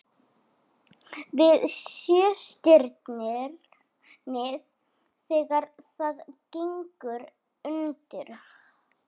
Við Sjöstirnið þegar það gengur undir.